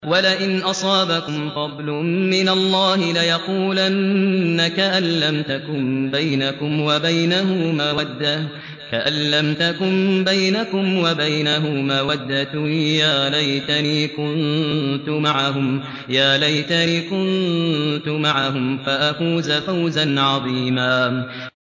وَلَئِنْ أَصَابَكُمْ فَضْلٌ مِّنَ اللَّهِ لَيَقُولَنَّ كَأَن لَّمْ تَكُن بَيْنَكُمْ وَبَيْنَهُ مَوَدَّةٌ يَا لَيْتَنِي كُنتُ مَعَهُمْ فَأَفُوزَ فَوْزًا عَظِيمًا